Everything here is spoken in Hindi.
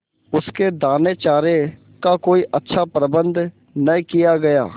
उसके दानेचारे का कोई अच्छा प्रबंध न किया गया